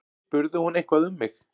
Spurði hún eitthvað um mig?